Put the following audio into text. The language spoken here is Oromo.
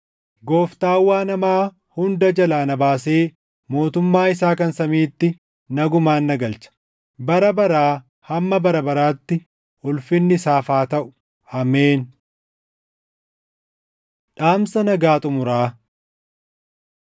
Gooftaan waan hamaa hunda jalaa na baasee mootummaa isaa kan samiiti nagumaan na galcha. Bara baraa hamma bara baraatti ulfinni isaaf haa taʼu. Ameen. Dhaamsa Nagaa Xumuraa